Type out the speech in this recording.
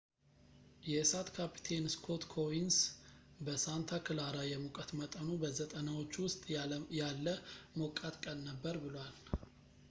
የእሳት ካፕቴን ስኮት ኮኡንስ በሳንታ ክላራ የሙቀት መጠኑ በ90ዎቹ ውስጥ ያለ ሞቃት ቀን ነበር ብሏል